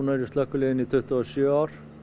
í slökkviliðinu í tuttugu og sjö ár